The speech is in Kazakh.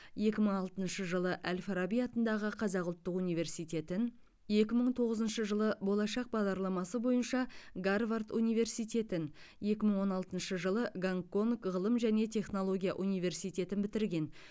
екі мың алтыншы жылы әл фараби атындағы қазақ ұлттық университетін екі мың тоғызыншы жылы болашақ бағдарламасы бойынша гарвард университетін екі мың он алтыншы жылы гонконг ғылым және технология университетін бітірген